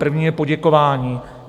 První je poděkování.